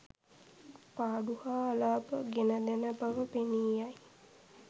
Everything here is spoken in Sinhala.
පාඩු හා අලාභ ගෙනදෙන බව පෙනී යයි.